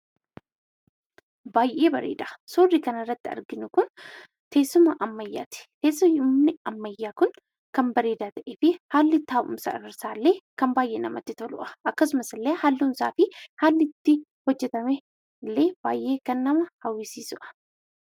Baay'ee bareeda! Suurri kanarratti arginu kun teessuma ammayyaati. Teessumni ammayyaa kun kan bareedaa ta'ee fi haalli taa'umsa isaallee kan baay'ee namatti toludha. Akkasumas illee halluun isaa fi haalli itti hojjetame illee baay'ee kan nama hawwisiisudha.